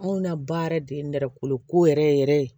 Anw na baara yɛrɛ de ye nɛrɛ kolo ko yɛrɛ yɛrɛ yɛrɛ ye